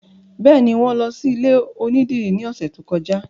Bẹ́ẹ̀ni, wọn lọ sí ilé onídìrí ní ọ̀sẹ̀ tó kọjá